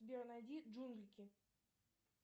сбер найди джунглики